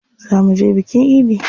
Zaa muje bikin idi.